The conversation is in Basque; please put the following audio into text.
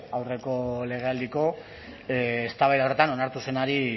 aurreko legealdiko eztabaida hartan onartu zenari